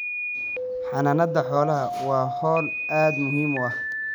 Xanaanada xoolaha waa hawl aad muhiim u ah.